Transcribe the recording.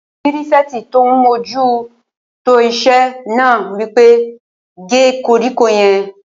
Pírífẹ̀tì tó n mójú tó iṣẹ́ náà wí pé "gé koríko yẹn!"